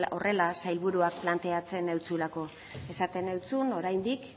horrela sailburuak planteatzen zizulako esaten zizun oraindik